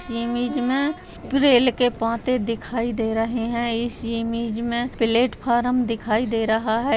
इस इमेज में रेल के पाते दिखाई दे रहे है इस इमेज में प्लेटफार्म दिखाई दे रहा है।